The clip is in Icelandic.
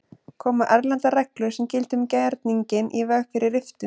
Koma erlendar reglur sem gilda um gerninginn í veg fyrir riftun?